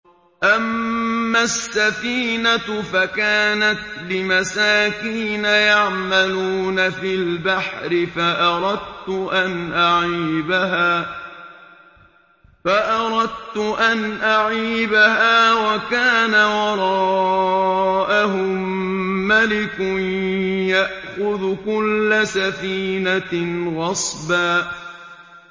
أَمَّا السَّفِينَةُ فَكَانَتْ لِمَسَاكِينَ يَعْمَلُونَ فِي الْبَحْرِ فَأَرَدتُّ أَنْ أَعِيبَهَا وَكَانَ وَرَاءَهُم مَّلِكٌ يَأْخُذُ كُلَّ سَفِينَةٍ غَصْبًا